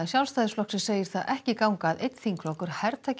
Sjálfstæðisflokks segir það ekki ganga að einn þingflokkur hertaki